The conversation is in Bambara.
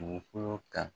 Dugukolo kan